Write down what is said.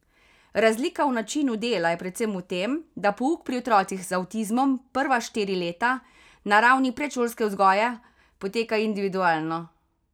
Razlika v načinu dela je predvsem v tem, da pouk pri otrocih z avtizmom prva štiri leta, na ravni predšolske vzgoje, poteka individualno.